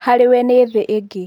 Harĩwe nĩ thĩ ingĩ."